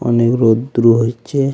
অনেক রোদ্রু হইছে .